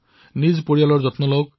নিজৰ পৰিয়ালৰো ধ্যান ৰাখক